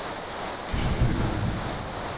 efterfølgende